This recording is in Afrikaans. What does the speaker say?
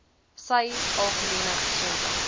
sy algemene gesondheid